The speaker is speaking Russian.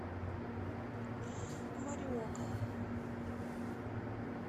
мориока